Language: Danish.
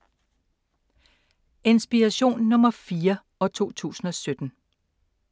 Inspiration nr. 4, 2017